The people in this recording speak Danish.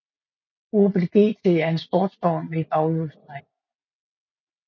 Opel GT er en sportsvogn med baghjulstræk